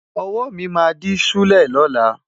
Ọwọ́ mi máa dí ṣúlẹ̀ lọ́la.